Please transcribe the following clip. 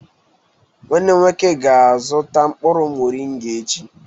Nwanne m nwoke ga-azuta mkpuru morịngà echi.